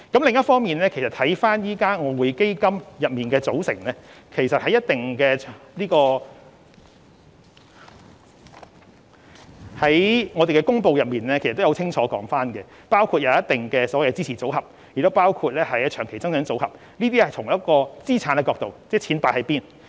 另一方面，就外匯基金的組成，我們已在相關公布中清楚說明，當中包括一定的支持組合，亦包括長期增長組合，這是從資產角度交代錢放在何處。